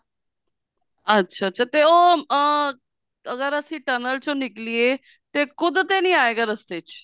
ਅੱਛਾ ਅੱਛਾ ਤੇ ਉਹ ਅਹ ਅਗਰ ਅਸੀਂ tunnel ਚੋਣ ਨਿਕਲੀਏ ਤੇ ਖੁਦ ਤੇ ਨਹੀਂ ਆਏਗਾ ਰਸਤੇ ਚ